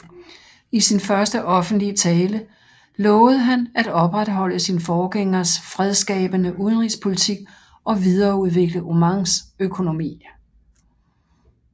I sin første offentlige tale lovede han at opretholde sin forgængers fredsskabende udenrigspolitik og videreudvikle Omans økonomi